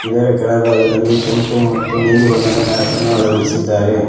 ಇದರ ಕೆಳಭಾಗದಲ್ಲಿ ಕೆಂಪು ಮತ್ತು ನೀಲಿ ಮ್ಯಾಟ್ ಅನ್ನು ಅಳವಡಿಸಿದ್ದಾರೆ.